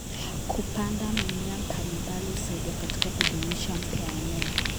Kupanda mimea mbalimbali husaidia katika kudumisha bioanuwai.